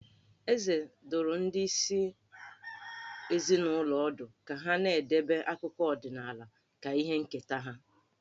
Eze dụrụ ndị isi ezinụlọ ọdụ ka ha na-edebe akụkọ ọdịnaala ka ihe nketa ha.